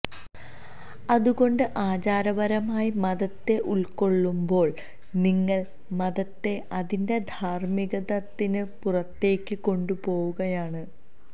അതുകൊണ്ട് ആചാരപരമായി മതത്തെ ഉള്ക്കൊള്ളുമ്പോള് നിങ്ങള് മതത്തെ അതിന്റെ ധാര്മ്മികമാനത്തിന് പുറത്തേക്ക് കൊണ്ടുപോവുകയാണ്